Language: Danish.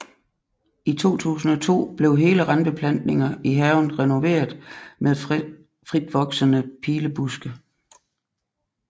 I 2002 blev hele randbeplantninger i haven renoveret med fritvoksende pilebuske